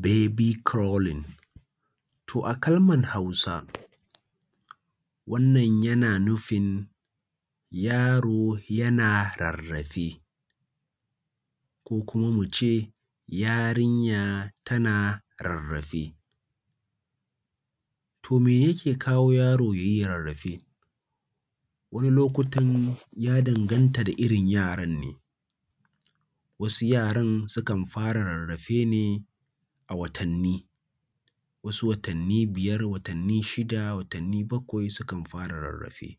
Baby crawling, to a Kalmar Hausa wannan yana nufin yaro yana rarrafe, ko kuma mu ce yarinya tana rarrafe. To me yake kawo yaro ya yi rarrafe? Wani lokutan ya danganta da irin yaran ne, wasu yaran sukan fara rarrafe ne a watanni, wasu watanni biyar, watanni shida, watanni bakwai sukan fara rarrafe.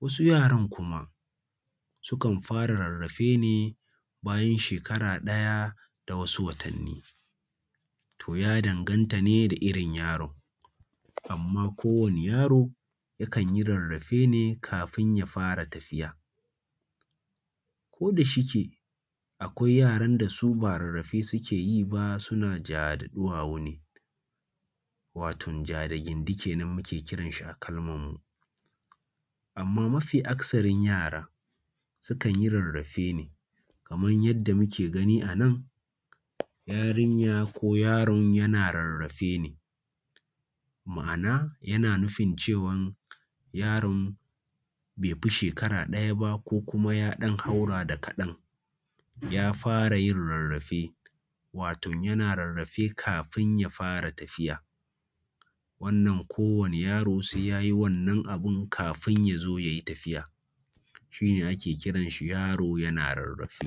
Wasu yaran kuma sukan fara rarrafe ne bayan shekara ɗaya da wasu watanni, to ya danganta ne da irin yaron. Amma kowane yaro yakan yi rarrafe ne kafin ya fara tafiya. Ko da shike, akwai wasu yaran su ba rarrafe suke yi ba suna ja da ɗuwawu ne, wato ja da gindi kenan muke kiran shi a Kalmar mu. Amma mafi akasarin yara sukan yi rarrafe ne, kaman yadda muke gani anan, yarinya ko yaron yana rarrafe ne, ma’ana yana nufin cewan yaron bai fi shekara ɗaya ba ko kuma ya ɗan haura da kaɗan ya fara yin rarrafe, wato yana rarrafe kafin ya fara tafiya. Wannan kowane yaro sai ya yi wannan abun kafin ya fara tafiya, shi ne ake kiran shi yaro yana rarrafe.